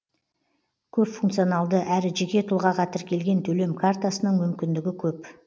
көпфункционалды әрі жеке тұлғаға тіркелген төлем картасының мүмкіндігі көп